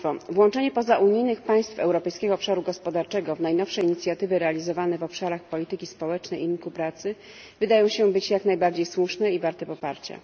Włączenie pozaunijnych państw Europejskiego Obszaru Gospodarczego w najnowsze inicjatywy realizowane w obszarach polityki społecznej i rynku pracy wydaje się być jak najbardziej słuszne i warte poparcia.